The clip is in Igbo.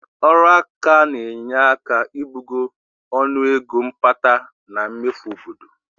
Ọrụaka na-enye aka ibugo ọnụego mkpata na mmefu obodo